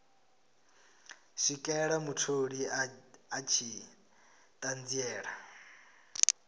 swikela mutholi a tshi ṱanziela